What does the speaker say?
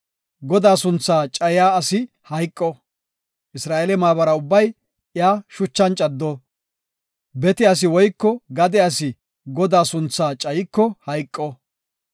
Godaa sunthaa cayiya asi hayqo; Isra7eele maabara ubbay iya shuchan caddo. Bete asi woyko gade asi Godaa sunthaa cayiko hayqo.